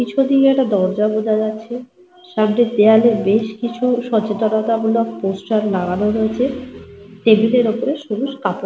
পিছনদিকে একটা দরজা বোঝা যাচ্ছে। সামনের দেওয়ালে বেশ কিছু সচেতনতামূলক পোস্টার লাগানো রয়েছে। টেবিল -এর ওপর সবুজ কাপড় --